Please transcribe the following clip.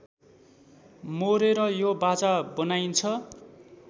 मोरेर यो बाजा बनाइन्छ